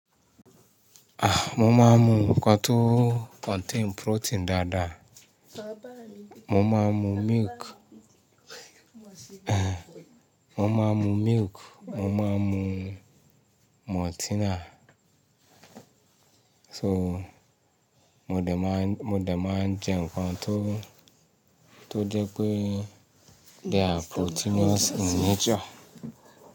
Ah, mo máa ń mu nǹkan tó contain protein dáadáa. Mo máa ń mu milk, mo máa ń mu milk, mo máa ń mu maltina. So mo dẹ̀ máa, mo dẹ̀ máa ń jẹ nǹkan tó, tó jẹ́ pé they are proteinous in nature.